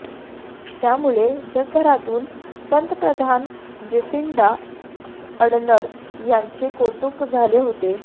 त्यामुळे जगभरातून पंतप्रधान जेसिंडा अडर्न यांचे कौतुक झाले होते